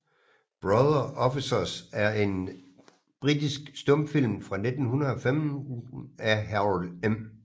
Brother Officers er en britisk stumfilm fra 1915 af Harold M